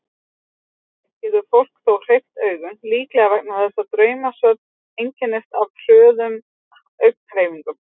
Yfirleitt getur fólk þó hreyft augun, líklega vegna þess að draumsvefn einkennist af hröðum augnhreyfingum.